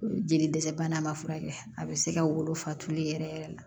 Jeli dɛsɛ bana ma furakɛ a bɛ se ka wolofa tulu yɛrɛ yɛrɛ la